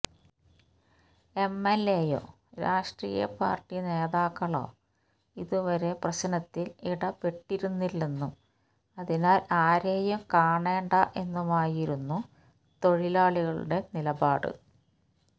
എംഎൽഎയോ രാഷ്ട്രീയപാർട്ടി നേതാക്കളോ ഇതുവരെ പ്രശ്നത്തിൽ ഇടപ്പെട്ടിരുന്നില്ലെന്നും അതിനാൽ ആരേയും കാണേണ്ട എന്നുമായിരുന്നു തൊഴിലാളികളുടെ നിലപാട്